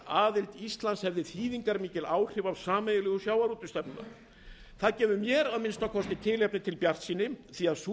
aðild íslands hefði þýðingarmikil áhrif á sameiginlegu sjávarútvegsstefnuna það gefur að minnsta kosti mér tilefni til bjartsýni því að sú